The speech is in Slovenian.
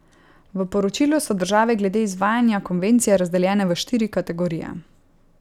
V poročilu so države glede izvajanja konvencije razdeljene v štiri kategorije.